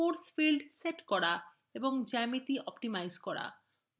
force field set করা এবং geometry optimize করা